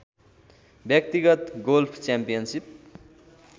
व्यक्तिगत golf championship